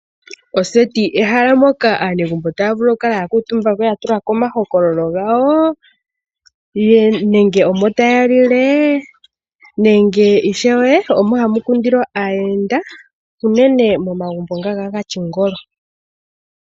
Oseti ehala moka aanegumbo tavulu okukala yakutumba yatulako omahokololo ngawo nenge omo taya li le nenge ishewe omo hamukundilwa aayenda unene momagumbo nga gatyingolo.